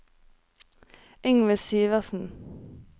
Yngve Syversen